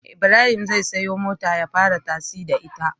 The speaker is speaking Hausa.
Ibrahim zai siya mota ya fara tasi da ita